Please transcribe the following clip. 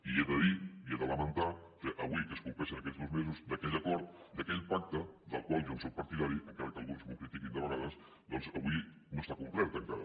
i he de dir i he de lamentar que avui que es compleixen dos mesos d’aquell acord d’aquell pacte del qual jo en sóc partidari encara que alguns m’ho critiquin de vegades doncs avui no està complert encara